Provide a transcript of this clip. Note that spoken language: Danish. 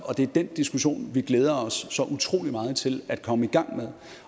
det er den diskussion vi glæder os så utrolig meget til at komme i gang med